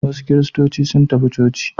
Wasu kiristoci sun tafi coci.